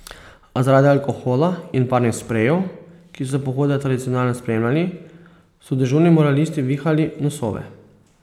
A zaradi alkohola in barvnih sprejev, ki so pohode tradicionalno spremljali, so dežurni moralisti vihali nosove.